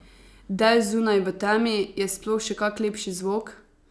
Dež zunaj v temi, je sploh še kak lepši zvok?